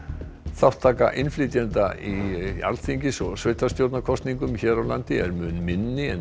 þátttaka innflytjenda í Alþingis og sveitarstjórnarkosningum hér á landi er mun minni en